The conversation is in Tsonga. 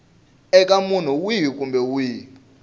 eka munhu wihi kumbe wihi